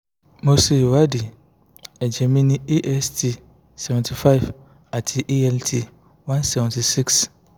mo ṣe ìwádìí ẹ̀jẹ̀ mi ní ast seventy five àti alt one seventy six